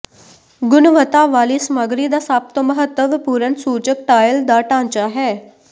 ਗੁਣਵੱਤਾ ਵਾਲੀ ਸਮੱਗਰੀ ਦਾ ਸਭ ਤੋਂ ਮਹੱਤਵਪੂਰਨ ਸੂਚਕ ਟਾਇਲ ਦਾ ਢਾਂਚਾ ਹੈ